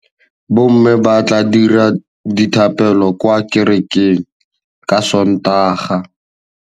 Bommê ba tla dira dithapêlô kwa kerekeng ka Sontaga.